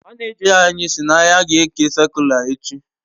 manija anyi si na ya ga eke sakula echi